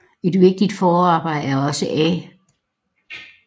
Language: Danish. Et vigtigt forarbejde er også A